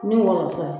Ni wolosɛbɛn